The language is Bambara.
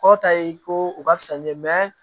Kɔrɔ ta ye ko u ka fisa ni dɛ